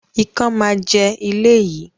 Ikán máa jẹ ilé yìí